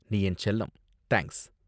நீ என் செல்லம்! தேங்க்ஸ்!